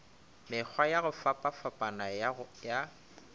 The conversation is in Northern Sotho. mekgwa ya go fapafapana ya